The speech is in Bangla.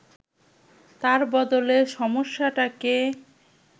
তার বদলে সমস্যাটাকে